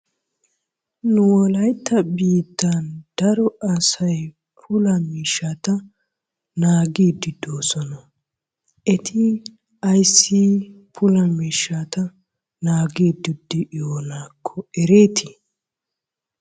Nu wolayitta biittan daro asay puula miishshata naagidi de'oosona. Eti ayssi puula miishshata naagiiddi de"iyoonaakko ereeti?